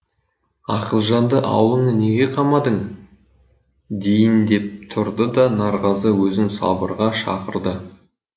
ақылжанды ауылыңа неге қамадың дейін деп тұрды да нарғазы өзін сабырға шақырды